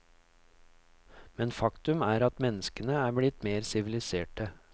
Men faktum er at menneskene er blitt mer siviliserte.